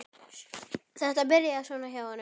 Þetta byrjaði svona hjá honum.